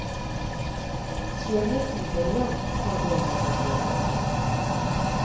Tjenesten blir langt fra det hun ble forespeilet.